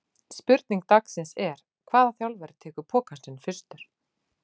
Spurning dagsins er: Hvaða þjálfari tekur pokann sinn fyrstur?